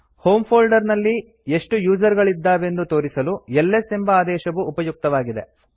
home folder ನಲ್ಲಿ ಎಷ್ಟು user ಗಳಿದ್ದಾವೆಂದು ತೋರಿಸಲು ಎಲ್ಎಸ್ ಎಂಬ ಆದೇಶವು ಉಪಯುಕ್ತವಾಗಿದೆ